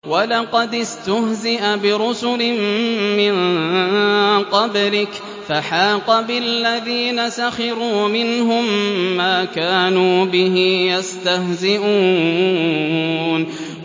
وَلَقَدِ اسْتُهْزِئَ بِرُسُلٍ مِّن قَبْلِكَ فَحَاقَ بِالَّذِينَ سَخِرُوا مِنْهُم مَّا كَانُوا بِهِ يَسْتَهْزِئُونَ